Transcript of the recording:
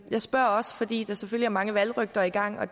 spørger også fordi der selvfølgelig er mange valgrygter i gang og